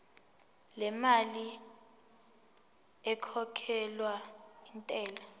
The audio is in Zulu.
lemali ekhokhelwa intela